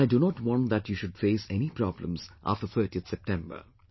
And I do not want that you should face any problems after 30th September